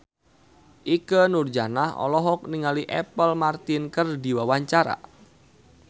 Ikke Nurjanah olohok ningali Apple Martin keur diwawancara